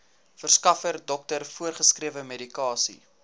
verskaffer dokter voorgeskrewemedikasie